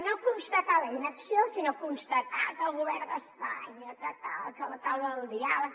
no constatar la inacció sinó constatar que el govern d’espanya que tal que la taula del diàleg